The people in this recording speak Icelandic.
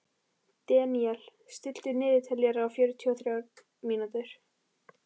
Deníel, stilltu niðurteljara á fjörutíu og þrjár mínútur.